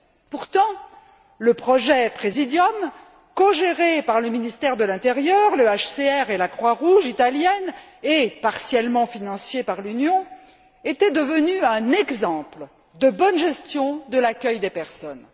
Pourtant, le projet Præsidium, cogéré par le ministère de l'intérieur, le HCR et la Croix Rouge italienne et partiellement financé par l'Union, était devenu un exemple de bonne gestion de l'accueil des personnes.